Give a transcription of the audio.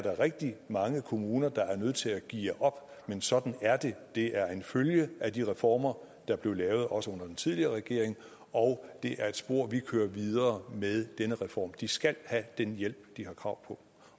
er rigtig mange kommuner der er nødt til at geare op men sådan er det det er en følge af de reformer der blev lavet også under den tidligere regering og det er et spor vi kører videre i med denne reform de skal have den hjælp de har krav